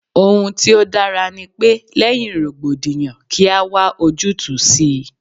Ohun tí ó dára ní pe, lẹ́yìn rògbòdìyàn kí a wá ojútùú sí i.